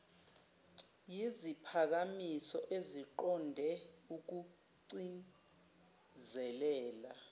yiziphakamiso eziqonde ukugcizelela